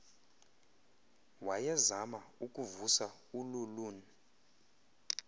wayezama ukuvusa ululun